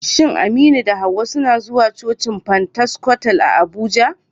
Shin Aminu da Hawwa suna zuwa cocin Pentecostal a Abuja?